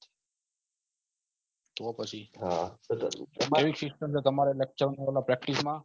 એવી system કે તમરા લક્ષણ કરના Practice માં